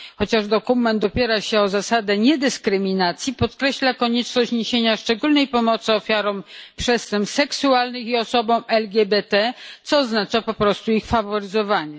Chociaż dokument opiera się na zasadzie niedyskryminacji, podkreśla on konieczność niesienia szczególnej pomocy ofiarom przestępstw seksualnych i osobom LGBT, co oznacza po prostu ich faworyzowanie.